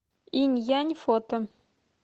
инь янь фото